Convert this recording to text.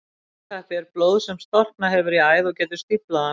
Blóðtappi er blóð sem storknað hefur í æð og getur stíflað hana.